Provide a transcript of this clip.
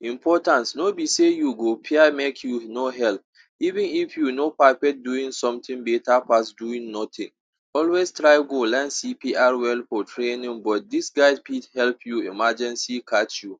Importance, no be sey you go fear make you no help. Even if you no perfect doing something better pass doing nothing, always try go learn CPR well for training but this guide fit help you emergency catch you.